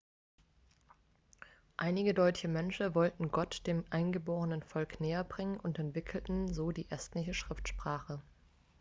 einige deutsche mönche wollten gott dem eingeborenen volk näherbringen und entwickelten so die estnische schriftsprache